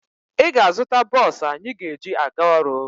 Ị ga-azụta bọọsụ anyị ga-eji aga ọrụ.